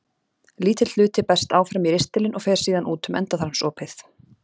Lítill hluti berst áfram í ristilinn og fer síðan út um endaþarmsopið.